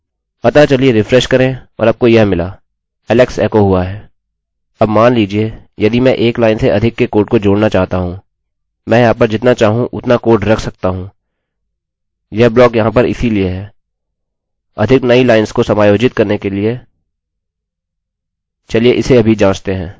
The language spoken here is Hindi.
अब मान लीजिये यदि मैं 1 लाइन से अधिक के कोड को जोड़ना चाहता हूँ मैं यहाँ पर जितना चाहूँ उतना कोड रख सकता हूँ यह ब्लॉक यहाँ पर इसीलिए है अधिक नई लाइंस को समायोजित करने के लिए चलिए इसे अभी जाँचते हैं